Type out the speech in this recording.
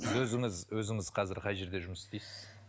сіз өзіңіз өзіңіз қазір қай жерде жұмыс істейсіз